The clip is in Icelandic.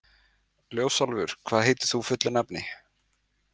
Ljósálfur, hvað heitir þú fullu nafni?